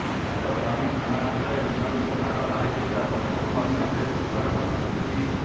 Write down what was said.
ତାଙ୍କ ସ୍ୱାମୀ ଥାନା ଭିତରେ ବିନୋଦକୁ ମାଡ଼ ମାରିଥିବା କଥାକୁ ମଧ୍ୟ ସେ ସ୍ୱୀକାର କରିଛନ୍ତି